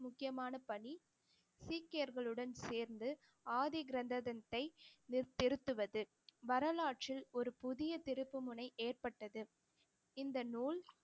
முக்கியமான பணி சீக்கியர்களுடன் சேர்ந்து ஆதி கிரந்தத்தை நிறு~ திருத்துவது வரலாற்றில் ஒரு புதிய திருப்புமுனை ஏற்பட்டது இந்த நூல்